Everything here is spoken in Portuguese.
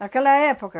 Naquela época,